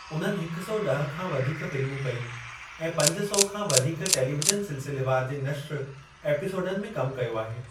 उन्हनि हिक सौ ॾह खां वधीक फ़िल्मूं कयूं ऐं पंज सौ खां वधीक टेलीविज़न सिलसिलेवार जे नश्र एपिसोडनि में कमु कयो आहे।